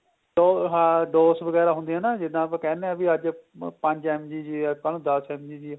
ਦੋ ਹਾਂ dose ਵਗੈਰਾ ਹੁੰਦੀ ਏ ਨਾ ਜਿੱਦਾ ਆਪਾਂ ਕਹਿਨੇ ਆ ਵੀ ਅੱਜ ਪੰਜ MG ਜੇ ਏ ਕੱਲ ਨੂੰ ਦੱਸ MG ਜੇ